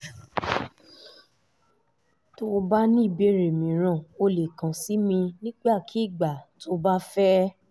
tó o bá ní ìbéèrè mìíràn o lè kàn sí mi nígbàkigbà tó o bá fẹ́